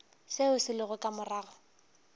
seo se lego ka morago